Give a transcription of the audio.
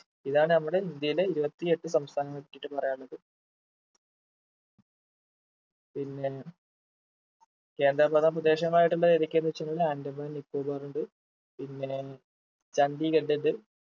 ഇതാണ് നമ്മുടെ ഇന്ത്യയിലെ ഇരുപത്തിയെട്ട് സംസ്ഥാനങ്ങളെ പറ്റിട്ട് പറയാനുള്ളത് പിന്നേ കേന്ദ്ര ഭരണ പ്രദേശമായിട്ടുള്ള ഏതൊക്കെയെന്ന് വെച്ചാൽ ആൻഡമാൻ നിക്കോബാർ ഇണ്ട് പിന്നേ ചണ്ഡീഗഡ് ഇണ്ട്